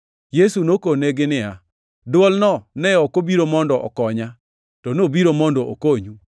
Yesu nokonegi niya, “Dwolno ne ok obiro mondo okonya, to nobiro mondo okonyu.